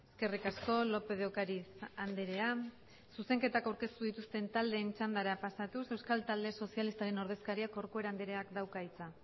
eskerrik asko lópez de ocariz andrea zuzenketak aurkeztu dituzten taldeen txandara pasatuz euskal talde sozialistaren ordezkariak corcuera andreak dauka hitza